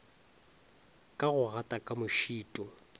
ka go gata ka mošito